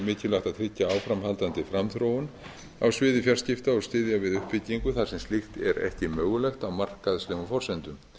mikilvægt að tryggja áframhaldandi framþróun á sviði fjarskipta og styðja við uppbyggingu þar sem slíkt er ekki mögulegt á markaðslegum forsendum